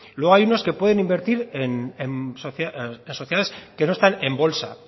luego hay unos que pueden invertir en las sociedades que no están en bolsa